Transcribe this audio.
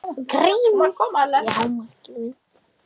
GRÍMUR: Já, Magnús minn!